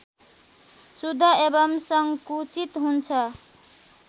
शुद्ध एवं संकुचित हुन्छ